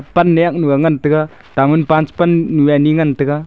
pandiak nuga ngan tega tanmunpaan panyu ani ga ngan tega.